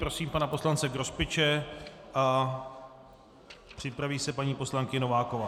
Prosím pana poslance Grospiče a připraví se paní poslankyně Nováková.